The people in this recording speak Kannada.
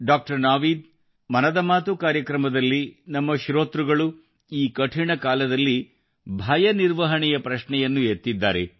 ಡಾಕ್ಟರ್ ನಾವೀದ್ ಮನದ ಮಾತು ಕಾರ್ಯಕ್ರಮದಲ್ಲಿ ನಮ್ಮ ಶ್ರೋತೃಗಳು ಈ ಕಠಿಣ ಕಾಲದಲ್ಲಿ ಭಯ ನಿರ್ವಹಣೆಯ ಪ್ರಶ್ನೆಯನ್ನು ಎತ್ತಿದ್ದಾರೆ